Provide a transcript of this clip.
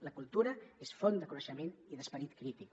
la cultura és font de coneixement i d’esperit crític